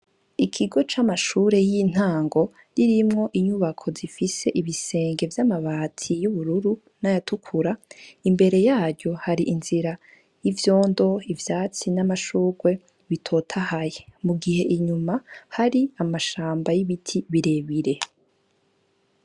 Ikigo c'amashure y'intango kirimwo inyubako zifise ibisenge vy'amabati y'ubururu n'ayatukura imbere yaryo hari inzira y'ivyondo ivyatsi n'amashurwe bitotahaye mu gihe inyuma hari amashamba y'ibiti birebire.